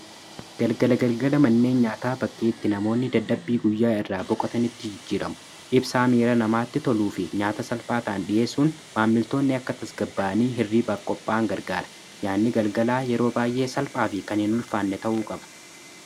galgala-galgala manneen nyaata bakkii itti namoonni dadhabbii guyyaa irraa boqotaanitti jijjiramu ibsaa miira namaatti toluu fi nyaata salphaataan dhiyeessuun maammiltoonni akka tasgabba'anii hirriibaaf-qophaan gargaara nyaanni galgalaa yeroo baay'ee salphaa fi kan hiin ulfaanne ta'uu qaba